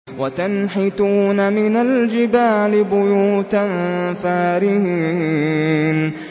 وَتَنْحِتُونَ مِنَ الْجِبَالِ بُيُوتًا فَارِهِينَ